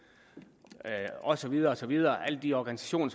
og så videre og så videre alle de organisationer